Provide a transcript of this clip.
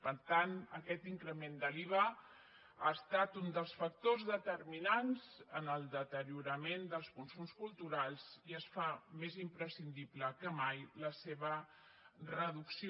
per tant aquest increment de l’iva ha estat un dels factors determinants en el deteriorament dels consums culturals i es fa més imprescindible que mai la seva reducció